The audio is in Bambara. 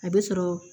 A bɛ sɔrɔ